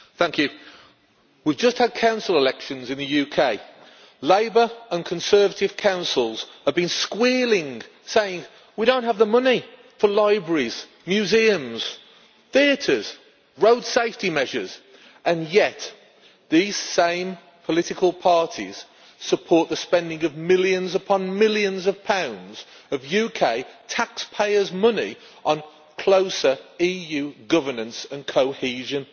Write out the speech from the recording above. Mr President, we just had council elections in the UK. Labour and Conservative councils have been squealing, saying we don't have the money for libraries, museums, theatres, road safety measures' and yet these same political parties support the spending of millions upon millions of pounds of UK tax payers' money on closer EU governance and cohesion.